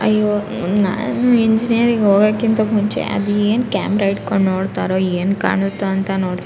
ಅಯ್ಯೋ ಮ್ ನಾನ್ ಇಂಜಿನಿಯರಿಂಗ್ ಹೋಗೋಕಿಂತ ಮುಂಚೆ ಅದೇನ್ ಕ್ಯಾಮರಾ ಹಿಡ್ಕೊಂಡು ನೋಡ್ತಾರೋ ಏನ್ ಕಾಣತ್ತೋ ಅಂತ ನೋಡ್ದೆ --